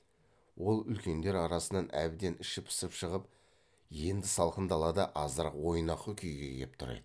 ол үлкендер арасынан әбден іші пысып шығып енді салқын далада азырақ ойнақы күйге кеп тұр еді